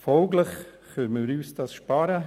– Folglich können wir uns das sparen.